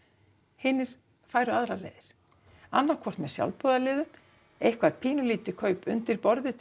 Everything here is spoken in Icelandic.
hinir færu aðrar leiðir annað hvort með sjálfboðaliðum eitthvað pínulítið kaup undir borðið til